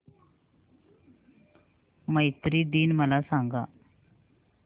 मैत्री दिन मला सांगा